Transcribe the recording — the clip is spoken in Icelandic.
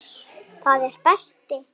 Er það sem mér sýnist?